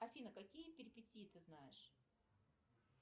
афина какие перепетии ты знаешь